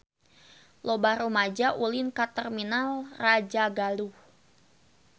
Loba rumaja ulin ka Terminal Rajagaluh